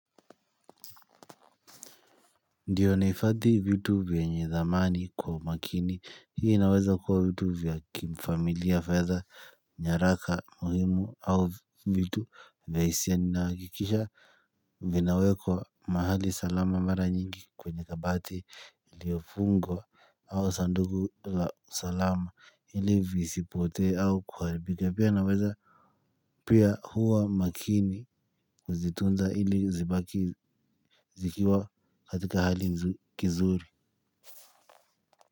Ndiyo nahifadhi vitu vyenye dhamani kwa umakini. Hii inaweza kuwa vitu vya kifamilia, fedha, nyaraka muhimu au vitu vya hisia. Ninahakikisha, vinawekwa mahali salama, mara nyingi kwenye kabati iliyofungwa. Au sanduku la salama, ili visipotee au kuharibika. Pia naweza, pia huwa makini kuzitunza ilizibaki zikiwa katika hali kizuri.